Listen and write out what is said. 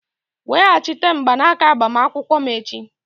Weghachite mgbanaka agbamakwụkwọ m echi!